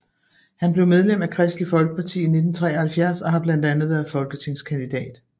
Han blev medlem af Kristeligt Folkeparti i 1973 og har blandt andet været folketingskandidat